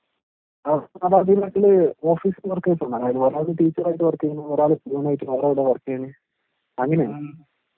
ഓ. മാതാപിതാക്കള് ഓഫീസില് വർക്ക് ചെയ്യുന്നു. ഒരാള് ടീച്ചറായിട്ട് വർക്ക് ചെയ്യുന്നു, ഒരാള് പ്യൂണായിട്ട് വേറെ എവിടെയോ വർക്ക് ചെയ്യുന്നു. അങ്ങിനെയാണ്.